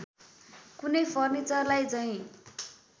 कुनै फर्निचरलाई झैँ